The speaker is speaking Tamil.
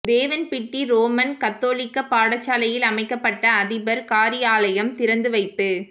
தேவன்பிட்டி றோமன் கத்தோலிக்க பாடசாலையில் அமைக்கப்பட்ட அதிபர் காரியாலயம் திறந்து வைப்பு